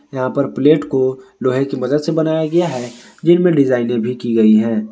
यहां पर प्लेट को लोहे की मदद से बनाया गया है जिनमें डिजाइने भी की गई है।